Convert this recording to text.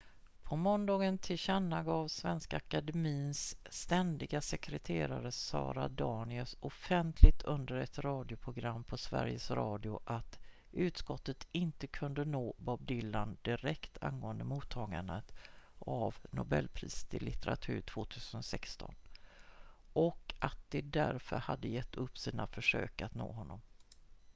på måndagen tillkännagav svenska akademiens ständiga sekreterare sara danius offentligt under ett radioprogram på sveriges radio att utskottet inte kunde nå bob dylan direkt angående mottagandet av nobelpriset i litteratur 2016 och att det därför hade gett upp sina försök att nå honom